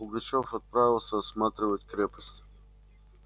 пугачёв отправился осматривать крепость